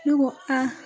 Ne ko a